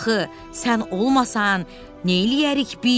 Axı sən olmasan neyləyərik biz?